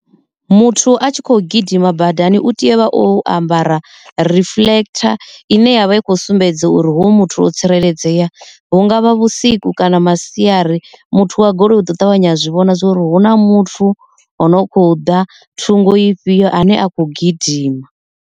Muthu a tshi khou gidima badani u tea uvha o ambara reflector ine yavha i kho sumbedza uri hoyu muthu o tsireledzea hungavha vhusiku kana masiari muthu wa goloi uto ṱavhanya wa zwi vhona zwori hu na muthu o no kho ḓa thungo ifhio ane a kho gidima.